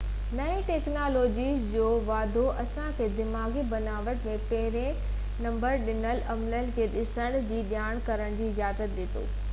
نئين ٽيڪنالاجيز جو واڌارو اسان کي دماغي بناوٽ ۽ پهرين نه ڏٺل عملن کي ڏسڻ ۽ جاچ ڪرڻ جي اجازت ڏي ٿو